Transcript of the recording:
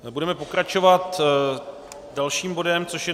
Budeme pokračovat dalším bodem, což je